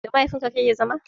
Da mahaifin ka kake zama?